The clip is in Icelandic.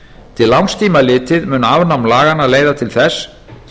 til langs tíma litið mun afnám laganna leiða til þess